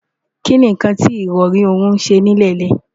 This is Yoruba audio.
kí ni nǹkan tí ìrọrí ọ̀hún ń ṣe nílẹ̀ńlẹ̀?